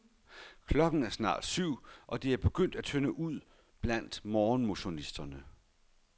Klokken er snart syv, og det er begyndt at tynde ud blandt morgenmotionisterne.